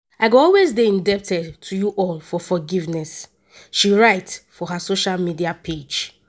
i go always dey indebted to you all for forgiveness” she write for her social media page.